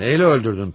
Neylə öldürdün bəki?